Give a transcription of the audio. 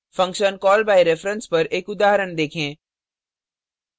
function call by reference पर एक उदाहरण देखें